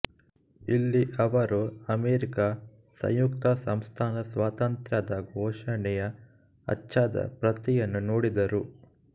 ಇಲ್ಲಿ ಅವರು ಅಮೆರಿಕಾ ಸಂಯುಕ್ತ ಸಂಸ್ಥಾನ ಸ್ವಾತಂತ್ರ್ಯದ ಘೋಷಣೆಯ ಅಚ್ಚಾದ ಪ್ರತಿಯನ್ನು ನೋಡಿದರು